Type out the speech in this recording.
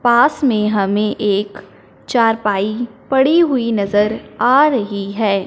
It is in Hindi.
पास में हमें एक चारपाई पड़ी हुई नजर आ रही है।